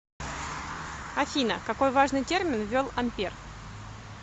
афина какой важный термин ввел ампер